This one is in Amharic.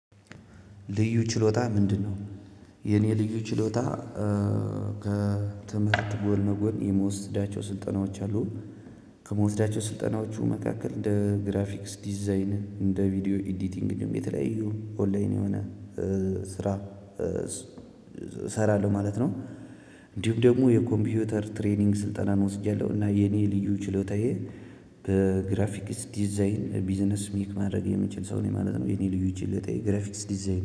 ልዩ ችሎታ ምንድነው? የኔ ልዩ ችሎታ ከትምህርት ጎን ለጎን የምወስዳቸው ስልጠናዎች አሉ። ከምወስዳቸው ስልጠናዎቹ መካከል እንደ ግራፊክስ ዲዛይን እንደ ቪዲዮ ኤዲቲንግ የተለያዩ ኦንላይን የሆነ ስራ እሰራለሁ ማለት ነው። እንዲሁም ደግሞ የኮምፒውተር ትሬኒንግ ስልጠናን ወስጃለሁ እና የኔ ልዩ ችሎታዬ በግራፊክስ ዲዛይን ቢዝነስ ሜክ ማድረግ የምችል ሰው ነኝ ማለት ነው። የኔ ልዩ ችሎታ ግራፊክስ ዲዛይን